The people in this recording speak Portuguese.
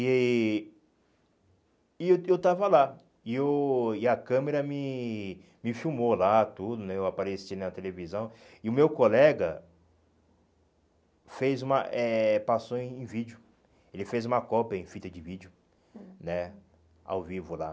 E e eu eu estava lá, e eu e a câmera me me filmou lá tudo né, eu apareci na televisão, e o meu colega fez uma eh passou em vídeo, ele fez uma cópia em fita de vídeo né, ao vivo lá.